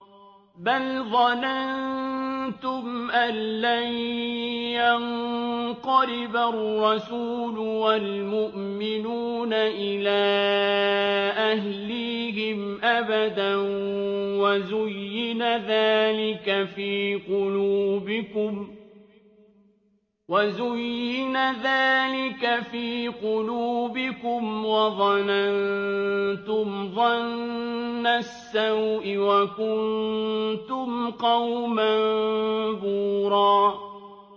بَلْ ظَنَنتُمْ أَن لَّن يَنقَلِبَ الرَّسُولُ وَالْمُؤْمِنُونَ إِلَىٰ أَهْلِيهِمْ أَبَدًا وَزُيِّنَ ذَٰلِكَ فِي قُلُوبِكُمْ وَظَنَنتُمْ ظَنَّ السَّوْءِ وَكُنتُمْ قَوْمًا بُورًا